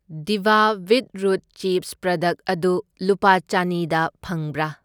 ꯗꯤꯚꯥ beetroot chips product ꯑꯗꯨ ꯂꯨꯄꯥ ꯆꯅꯤꯗ ꯐꯪꯕ꯭ꯔꯥ?